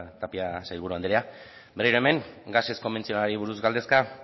tapia sailburu andrea berriro hemen gasez konbentzionalari buruz galdezka